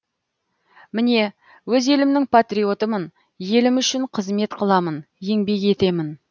міне өз елімнің патриотымын елім үшін қызмет қыламын еңбек етемін